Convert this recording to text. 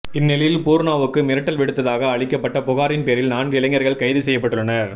இந்நிலையில் பூர்ணாவுக்கு மிரட்டல் விடுத்ததாக அளிக்கப்பட்ட புகாரின் பேரில் நான்கு இளைஞர்கள் கைது செய்யப்பட்டுள்ளனர்